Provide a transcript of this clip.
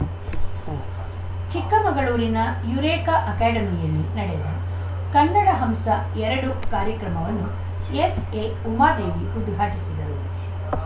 ಉಂ ಚಿಕ್ಕಮಗಳೂರಿನ ಯುರೇಕಾ ಅಕಾಡೆಮಿಯಲ್ಲಿ ನಡೆದ ಕನ್ನಡ ಹಂಸ ಎರಡು ಕಾರ್ಯಕ್ರಮವನ್ನು ಎಸ್‌ಎಉಮಾದೇವಿ ಉದ್ಘಾಟಿಸಿದರು